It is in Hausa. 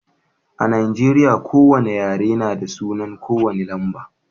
A Nijeriya,, ko wane yare na da sunan ko wane lamba.